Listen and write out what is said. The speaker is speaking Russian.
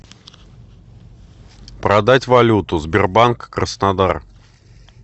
продать валюту сбербанк краснодар